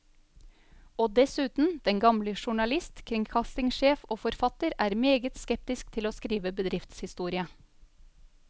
Og dessuten, den gamle journalist, kringkastingssjef og forfatter er meget skeptisk til å skrive bedriftshistorie.